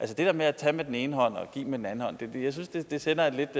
det der med at tage med den ene hånd og give med den anden hånd synes jeg sender et